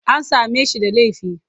An same shi da laifi?